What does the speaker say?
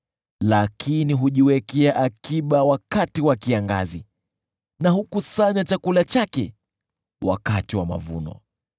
lakini hujiwekea akiba wakati wa kiangazi na hukusanya chakula chake wakati wa mavuno.